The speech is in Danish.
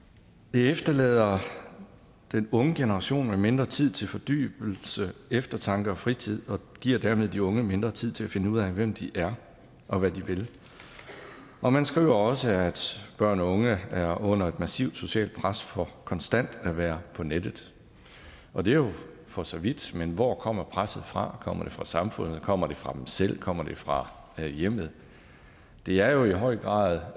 det efterlader den unge generation med mindre tid til fordybelse eftertanke og fritid og giver dermed de unge mindre tid til at finde ud af hvem de er og hvad de vil og man skriver også at børn og unge er under et massivt socialt pres for konstant at være på nettet og det er jo for så vidt men hvor kommer presset fra kommer det fra samfundet kommer det fra dem selv kommer det fra hjemmet det er jo i høj grad